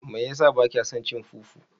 Mai yasa bakya son cin fufu?